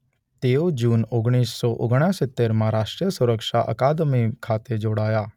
તેઓ જુન ઓગણીસ સો ઓગણસિત્તેરમાં રાષ્ટ્રીય સુરક્ષા અકાદમિ ખાતે જોડાયા.